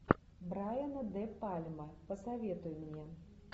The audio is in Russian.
брайана де пальма посоветуй мне